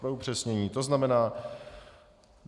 Pro upřesnění to znamená.